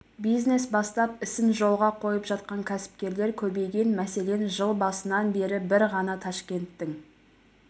бизнес бастап ісін жолға қойып жатқан кәсіпкерлер көбейген мәселен жыл басынан бері бір ғана ташкенттің